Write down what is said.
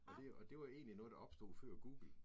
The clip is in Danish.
Og det og det var egentlig noget, der opstod før Google